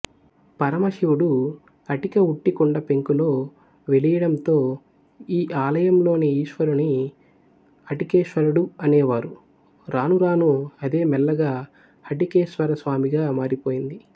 పరమశివుడు అటిక ఉట్టి కుండ పెంకులో వెలియడంతో ఈ ఆలయంలోని ఈశ్వరుని అటికేశ్వరుడు అనేవారు రానురాను అదేమెల్లగా హటికేశ్వరస్వామిగా మారిపోయింది